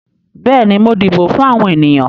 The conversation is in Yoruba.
Bẹ́ẹ̀ni, mo dìbò fún àwọn ènìyàn.